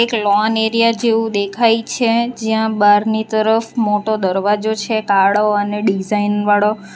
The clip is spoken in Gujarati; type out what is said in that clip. એક લોન એરિયા જેવુ દેખાય છે જ્યાં બહારની તરફ મોટો દરવાજો છે કાળો અને ડિઝાઇન વાળો.